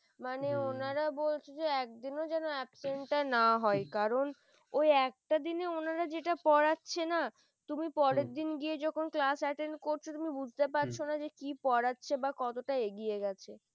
মানে ওনারা বলছে যে একদিনও যেন absent না হয় কারণ ওই একটা দিনে ওনার যেটা পড়াচ্ছে না তুমি পরের দিন গিয়ে যখন class attendence করছ তুমি বুঝতে পারছ না যে যে কি পড়াচ্ছে বা কতটা এগিয়ে গেছে ।